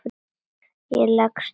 Ég leggst út af.